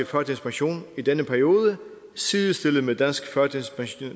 førtidspension i denne periode sidestillet med dansk førtidspension